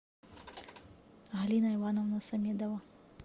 алина ивановна самедова